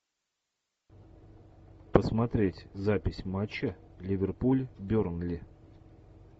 посмотреть запись матча ливерпуль бернли